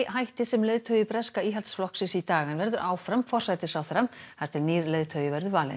hætti sem leiðtogi breska Íhaldsflokksins í dag en verður áfram forsætisráðherra þar til nýr leiðtogi verður valinn